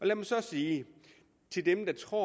lad mig så sige til dem der tror